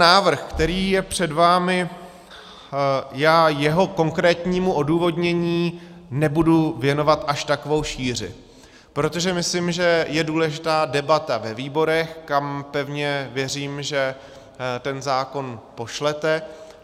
Návrh, který je před vámi, já jeho konkrétnímu odůvodnění nebudu věnovat až takovou šíři, protože myslím, že je důležitá debata ve výborech, kam pevně věřím, že ten zákon pošlete.